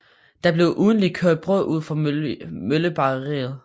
Der blev ugentligt kørt brød ud fra møllebageriet